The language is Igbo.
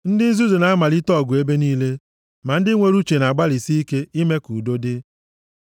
Ndị nzuzu na-amalite ọgụ ebe niile, ma ndị nwere uche na-agbalịsị ike ime ka udo dị.